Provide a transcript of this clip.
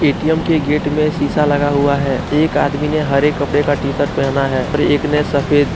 ATM के gate में शीशा लगा हुआ है एक आदमी ने हरे कपड़े का टीशर्ट पहनना है और एक ने सफेद।